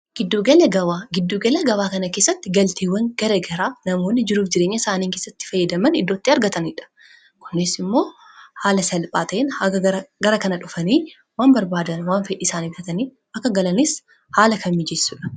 giddugela gawaa kana keessatti galtiiwwan gara garaa namoonni jiruuf jireenya isaaniin kessatti fayyadaman iddootti argataniidha kunees immoo haala salphaata'in haaga gara kana dhufanii waan barbaadan waan fedhiisaaniiftatanii akka galanis haala kan mijeessudha